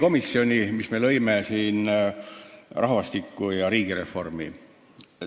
Oleme loonud siin kaks probleemkomisjoni: rahvastiku- ja riigireformikomisjoni.